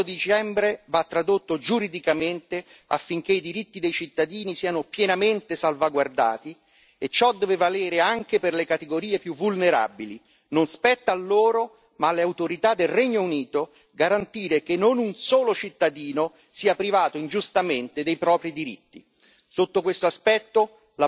In primo luogo, l'accordo di dicembre va tradotto giuridicamente affinché i diritti dei cittadini siano pienamente salvaguardati e ciò deve valere anche per le categorie più vulnerabili non spetta a loro, ma alle autorità del Regno Unito, garantire che non un solo cittadino sia privato ingiustamente dei propri diritti.